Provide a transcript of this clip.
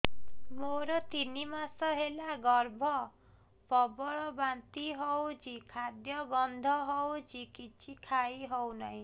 ମୋର ତିନି ମାସ ହେଲା ଗର୍ଭ ପ୍ରବଳ ବାନ୍ତି ହଉଚି ଖାଦ୍ୟ ଗନ୍ଧ ହଉଚି କିଛି ଖାଇ ହଉନାହିଁ